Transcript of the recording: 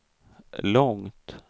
långt